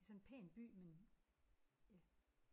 Det er sådan en pæn by men ja